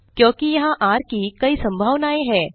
क्योंकि यहाँ र की कई संभावनाएँ हैं